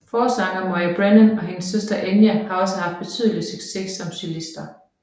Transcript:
Forsanger Moya Brennan og hendes søster Enya har også haft betydelig succes som solister